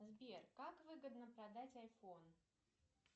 сбер как выгодно продать айфон